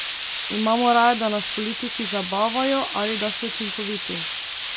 Imamo raje, da nas politiki zabavajo ali da so učinkoviti?